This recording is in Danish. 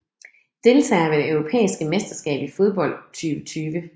Deltagere ved det europæiske mesterskab i fodbold 2020